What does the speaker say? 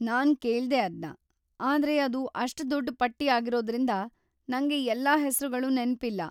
ನಾನ್‌ ಕೇಳ್ದೆ ಅದ್ನ, ಆದ್ರೆ ಅದು‌ ಅಷ್ಟ್ ದೊಡ್ಡ್ ಪಟ್ಟಿ ಆಗಿರೋದ್ರಿಂದ, ನಂಗೆ ಎಲ್ಲಾ ಹೆಸ್ರುಗಳು ನೆನ್ಪಿಲ್ಲ.